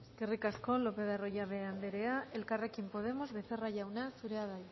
eskerrik asko lopez de arroyabe anderea elkarrekin podemos becerra jauna zurea da